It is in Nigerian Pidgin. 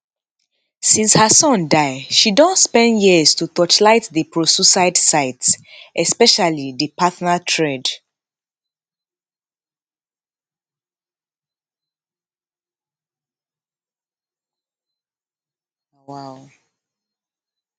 since her son die she don spend years to torchlight di prosuicide site especially di partner thread